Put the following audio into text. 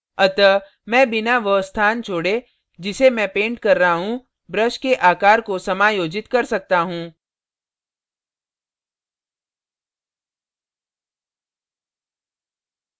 अतः मैं बिना वह स्थान छोड़े जिसे मैं paint कर रहा हूँ brush के आकार को समायोजित कर सकता हूँ